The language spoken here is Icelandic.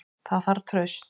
Það þarf traust.